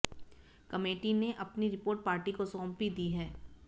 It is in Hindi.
कमेटी ने अपनी रिपोर्ट पार्टी को सौंप भी दी है